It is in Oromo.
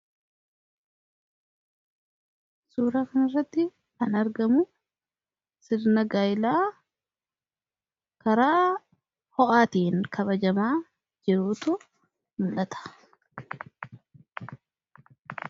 Suuraa kanarratti kan argamu sirna gaa'elaa karaa ho'aatiin kabajamaa jirutu mul'ata.